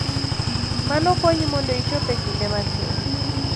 Mano konyi mondo ichop e kinde matin.